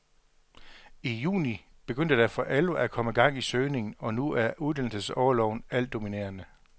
I juni begyndte der for alvor at komme gang i søgningen, og nu er uddannelsesorloven altdominerende.